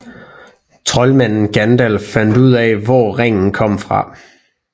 Troldmanden Gandalf fandt ud af hvor ringen kom fra